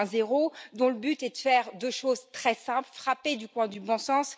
2.0, dont le but est de faire deux choses très simples, frappées au coin du bon sens.